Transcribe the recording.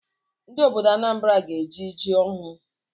Ndị obodo Anambra ga-eri ji ọhụụ